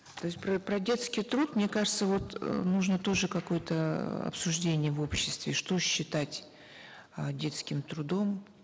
то есть про детский труд мне кажется вот э нужно тоже какое то обсуждение в обществе что считать э детским трудом